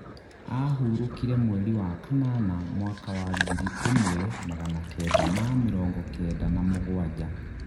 ahũrũkire mweri wa kanana mwaka wa ngiri ĩmwe magana Kenda ma mĩrongo Kenda na mũgwanja.